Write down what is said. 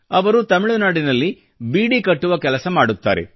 ಅವರು ತಮಿಳುನಾಡಿನಲ್ಲಿ ಬೀಡಿ ಕಟ್ಟುವ ಕೆಲಸ ಮಾಡುತ್ತಾರೆ